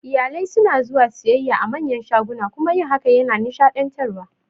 Iyalai suna zuwa siyayya a manyan shaguna kuma yin hakan yana nishaɗantarwa